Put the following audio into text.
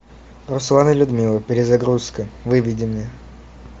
руслан и людмила перезагрузка выведи мне